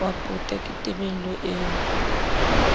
wa pota ke tebello eo